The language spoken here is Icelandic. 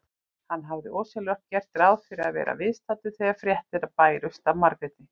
Hann hafði ósjálfrátt gert ráð fyrir að vera viðstaddur þegar fréttir bærust af Margréti.